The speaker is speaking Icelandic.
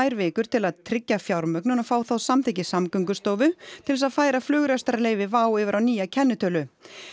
vikur til að tryggja fjármögnun og fá þá samþykki Samgöngustofu til þess að færa flugrekstrarleyfi WOW yfir á nýja kennitölu